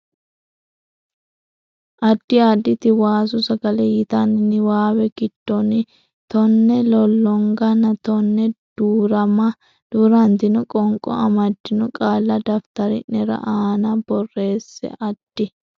Addi Additi Waasu Sagale yitanno niwaawe giddonni tonne lollonganna tonne duu rantino qoonqo amaddino qaalla daftari ne aana borreesse Addi.